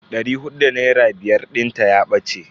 Dari hudu da naira biyar dinta ya bace.